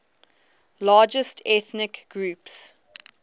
largest ethnic groups